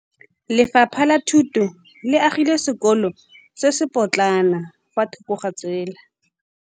Lefapha la Thuto le agile sekôlô se se pôtlana fa thoko ga tsela.